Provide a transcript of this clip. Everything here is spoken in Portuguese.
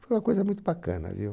Foi uma coisa muito bacana, viu?